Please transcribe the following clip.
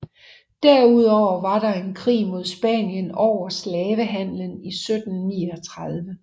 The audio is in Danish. Derudover var der en krig mod Spanien over slavehandelen i 1739